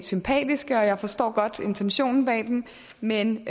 sympatiske jeg forstår godt intentionen bag dem men